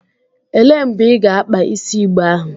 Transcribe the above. Elee mgbe ị ga-akpa isi igbe ahụ?